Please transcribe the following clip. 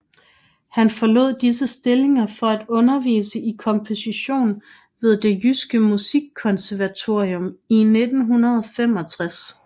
Han forlod disse stillinger for at undervise i komposition ved Det Jyske Musikkonservatorium i 1965